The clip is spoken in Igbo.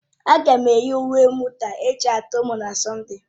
Ága m eyi uwe mwụda ajịaturu m na Sọnde